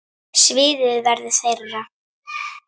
Sviðið verður þeirra.